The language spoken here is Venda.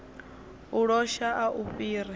u losha a u fhiri